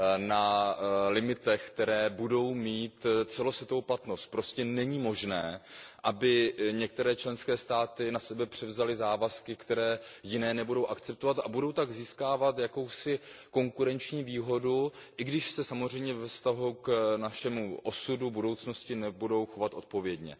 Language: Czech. na limitech, které budou mít celosvětovou platnost. Prostě není možné, aby některé členské státy na sebe převzaly závazky, které jiné nebudou akceptovat a budou tak získávat konkurenční výhodu, i když se samozřejmě ve vztahu k našemu osudu, k naší budoucnosti nebudou chovat odpovědně.